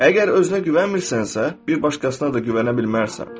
Əgər özünə güvənmirsənsə, bir başqasına da güvənə bilməzsən.